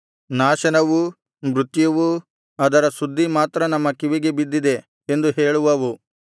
ನಾಶನವೂ ಮೃತ್ಯುವೂ ಅದರ ಸುದ್ದಿ ಮಾತ್ರ ನಮ್ಮ ಕಿವಿಗೆ ಬಿದ್ದಿದೆ ಎಂದು ಹೇಳುವವು